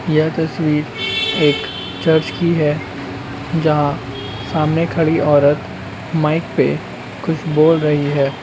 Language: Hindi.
यह तस्वीर एक चर्च की है जहाँ सामने खड़ी औरत माइक पे कुछ बोल रही है।